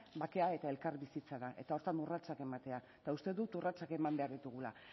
bakea eta elkarbizitza da eta horretan urratsak ematea eta uste dut urratsak eman behar ditugula